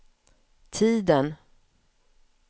tiden